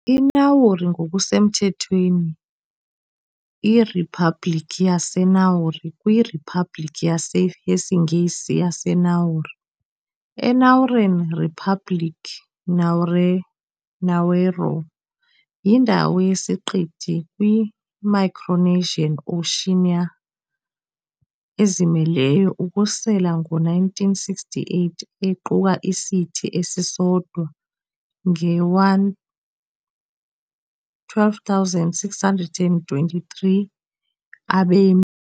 I-Nauru, ngokusemthethweni iRiphabhlikhi yaseNauru, kwiRiphabhlikhi yesiNgesi "yaseNauru", eNauruan "Ripublik Naoero", yindawo yesiqithi kwiMicronesian Oceania, ezimeleyo ukususela ngo-1968, equka isithi esisodwa nge12 623 abemi.